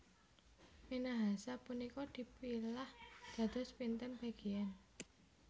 Minahasa punika dipilah dados pinten bagian